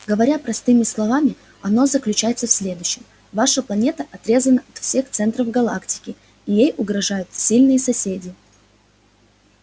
говоря простыми словами он заключается в следующем ваша планета отрезана от всех центров галактики и ей угрожают сильные соседи